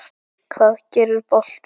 Hvað gerir boltinn?